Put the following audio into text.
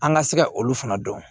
An ka se ka olu fana dɔn